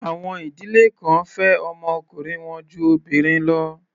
Àwọn ìdílé kan fẹ́ ọmọ ọkùnrin wọn ju obìnrin lọ.